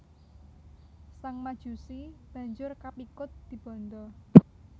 Sang Majusi banjur kapikut dibanda